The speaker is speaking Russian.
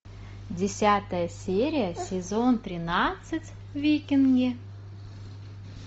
десятая серия сезон тринадцать викинги